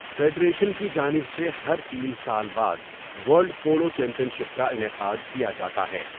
Federation کی جانب سے ہر تین سال بعد ورلڈ پولو چیمپئن شپ کا انعقاد کیا جاتا ہے۔